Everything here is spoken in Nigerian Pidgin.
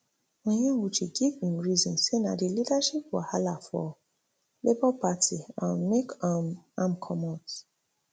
onyewuchi give im reason say na di leadership wahala for labour party um make um am comot